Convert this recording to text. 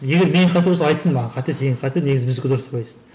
егер менікі қате болса айтсын маған қате сенікі қате негізі біздікі дұрыс деп айтсын